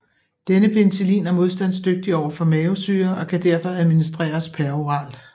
Denne penicillin er modstandsdygtig overfor mavesyre og kan derfor administreres peroralt